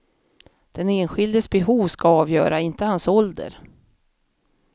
Den enskildes behov ska avgöra, inte hans ålder.